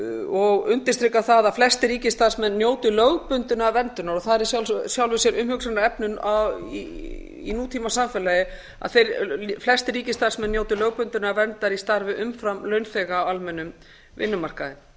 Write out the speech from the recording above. og undirstrikar það að flestir ríkisstarfsmenn njóti lögbundinnar verndunar það er í sjálfu sér umhugsunarefni í nútímasamfélagi að flestir ríkisstarfsmenn njóti lögbundinnar verndar í starfi umfram launþega á almennum vinnumarkaði